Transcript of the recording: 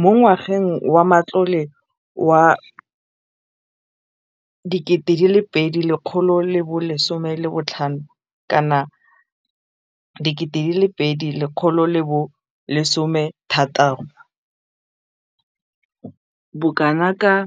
Mo ngwageng wa matlole wa 2015,16, bokanaka R5